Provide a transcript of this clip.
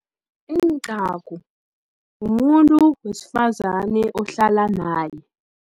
Incagu, mumuntu wesifazane ohlala naye.